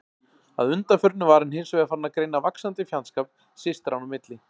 Að undanförnu var hann hins vegar farinn að greina vaxandi fjandskap systranna í milli.